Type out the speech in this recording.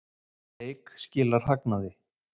Eik skilar hagnaði